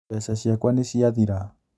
Mbeca ciakwa nĩciathira